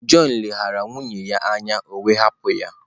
John leghaara nwunye ya anya, o wee hapụ ya.